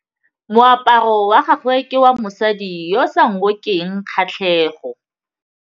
Moaparô wa gagwe ke wa mosadi yo o sa ngôkeng kgatlhegô.